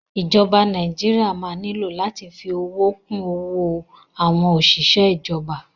Ìjọba Nàíjíríà máa nílò láti fi owó kún owó àwọn òṣìṣẹ́ ìjọba.